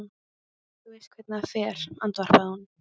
Þú veist hvernig það fer, andvarpaði hún.